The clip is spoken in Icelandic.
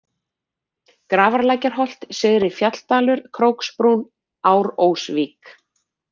Grafarlækjarholt, Syðri-Fjalldalur, Króksbrún, Árósvík